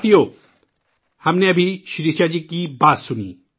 ساتھیو ، ہم نے ابھی شریشا جی کی بات سنی